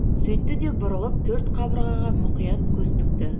сөйтті де бұрылып төрт қабырғаға мұқият көз тікті